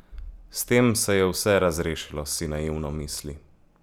S tem se je vse razrešilo, si naivno misli.